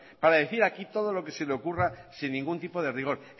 para decir aquí todo lo que se le ocurra sin ningún tipo de rigor